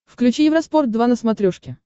включи евроспорт два на смотрешке